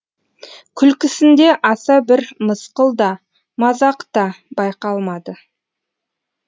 күлкісінде аса бір мысқыл да мазақ та байқалмады